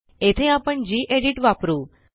येथे आपणgedit वापरू